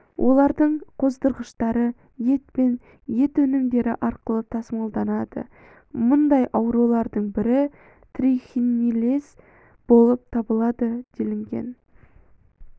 олардың қоздырғыштары ет пен ет өнімдері арқылы тасымалданады мұндай аурулардың бірі трихинеллез болып табылады делінген